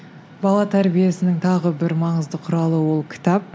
бала тәрбиесінің тағы бір маңызды құралы ол кітап